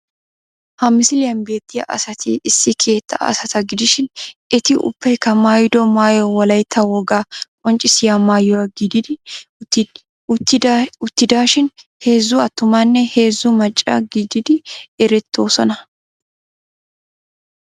Ha misiliyan beettiya asati issi keettaa asata gidishin eti ubbaykka maayido maayoy wolaytta wogaa qonccissiya maayuwa gididi uttidaa shin heezzu attumanne heezzu macca gididi erettoosona.